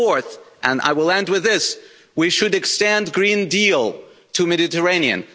And fourth, and I will end with this, we should extend the Green Deal to the Mediterranean.